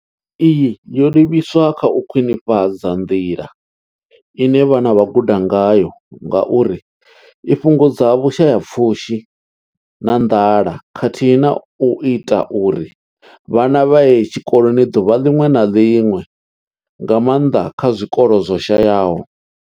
Iyi yo livhiswa kha u khwinifhadza nḓila ine vhana vha guda ngayo ngauri i fhungudza vhushayapfushi na nḓala khathihi na u ita uri vhana vha ye tshikoloni ḓuvha ḽiṅwe na ḽiṅwe, nga maanḓa kha zwikolo zwo shayaho.